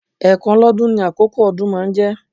Ẹ̀ẹ̀kan lọ́dún ní àkókó ọdún máa ń jẹ́